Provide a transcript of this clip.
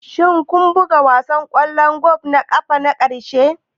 Shin kun buga wasan ƙwallon ƙafa na ƙarshe?